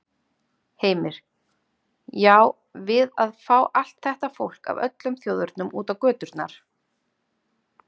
Heimir: Já, við að fá allt þetta fólk af öllum þjóðernum út á göturnar?